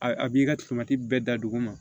A a b'i ka bɛɛ da dugu ma